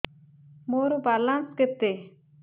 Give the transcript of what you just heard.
ମୋର ବାଲାନ୍ସ କେତେ